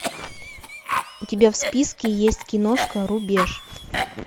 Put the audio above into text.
у тебя в списке есть киношка рубеж